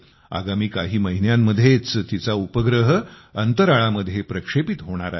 आगामी काही महिन्यांमध्येच तिचा उपग्रह अंतराळामध्ये प्रक्षेपित होणार आहे